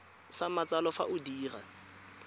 sa matsalo fa o dira